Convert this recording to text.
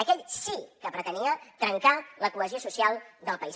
aquell sí que pretenia trencar la cohesió social del país